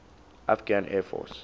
afghan air force